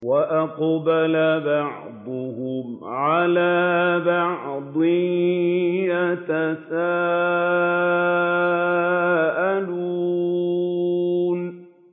وَأَقْبَلَ بَعْضُهُمْ عَلَىٰ بَعْضٍ يَتَسَاءَلُونَ